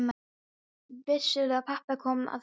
Vissirðu að pabbi kom að honum?